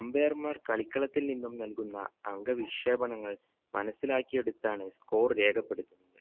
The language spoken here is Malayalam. umpire മാർ കളിക്കളത്തിൽ നിന്നും നൽകുന്ന അങ്ക വിക്ഷേപങ്ങൾ മനസ്സിലാക്കിയെടുത്താണ് score രേഖപ്പെടുത്തുന്നത്